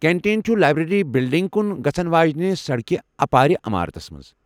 Canteen چُھ library بِلڈِنگہِ كُن گژھن واجینہِ سڈكہِ اپارِ عمارتس منز ۔